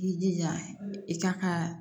I jija i kan ka